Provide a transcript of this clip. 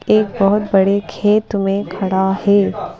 एक बहुत बड़े खेत में खड़ा है।